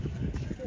Bu, belə də.